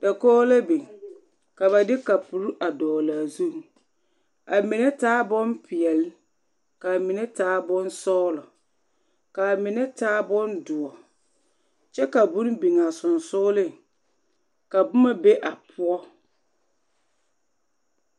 Dakogi la biŋ ka ba de kapuri a dɔɔlaa zuŋ amine taa bompeɛle k'a mine taa bonsɔɔlɔ k'a mine taa bondoɔ kyɛ ka bone biŋaa sonsooleŋ ka boma be a poɔ.